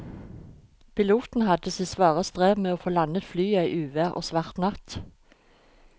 Piloten hadde sitt svare strev med å få landet flyet i uvær og svart natt.